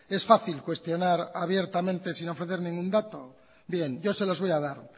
es fácil cuestionar abiertamente sin ofrecer ningún dato bien yo se los voy a dar